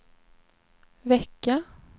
vecka